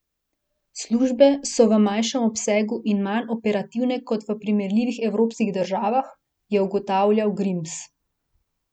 Službe so v manjšem obsegu in manj operativne kot v primerljivih evropskih državah, je ugotavljal Grims.